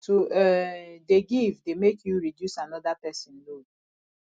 to um dey give dey make you reduce anoda pesin load